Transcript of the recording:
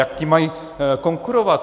Jak jim mají konkurovat?